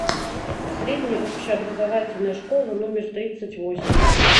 средняя общеобразовательная школа номер тридцать восемь